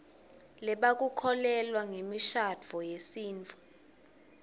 lebakukholelwa ngemishadvo yesitfu